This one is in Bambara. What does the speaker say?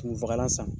Kunfagalan san